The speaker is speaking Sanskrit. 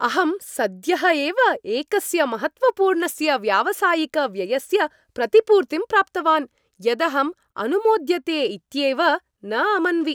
अहम् सद्यः एव एकस्य महत्त्वपूर्णस्य व्यावसायिक व्ययस्य प्रतिपूर्तिं प्राप्तवान्, यदहं अनुमोद्यते इत्येव न अमन्वि।